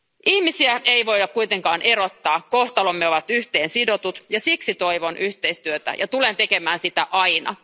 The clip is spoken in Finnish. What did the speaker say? Ihmisiä ei voida kuitenkaan erottaa. Kohtalomme ovat yhteen sidotut ja siksi toivon yhteistyötä ja tulen tekemään sitä aina.